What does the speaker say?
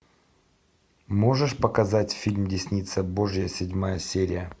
можешь показать фильм десница божья седьмая серия